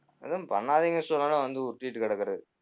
எதும் பண்ணாதீங்கன்னு சொன்னாலும் வந்து உருட்டிட்டுக்கிடக்குறது